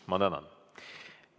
Ma tänan!